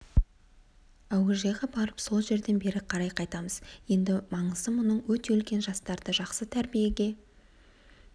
әуежайға барып сол жерден бері қарай қайтамыз енді маңызы мұның өте үлкен жастарды жақсы тәрбиеге